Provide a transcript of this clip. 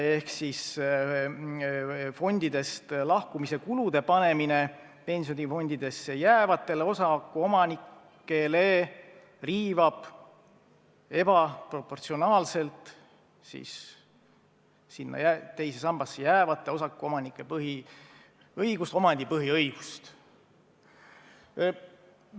See on, et fondidest lahkumise kulude panemine pensionifondidesse jäävatele osakuomanikele riivab ebaproportsionaalselt sinna teise sambasse jäävate inimeste üht põhiõigust ehk omandipõhiõigust.